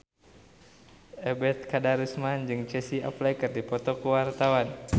Ebet Kadarusman jeung Casey Affleck keur dipoto ku wartawan